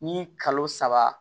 Ni kalo saba